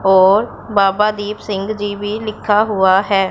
और बाबा दीप सिंग़ जी भी लिखा हुआ है।